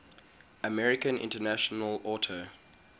american international auto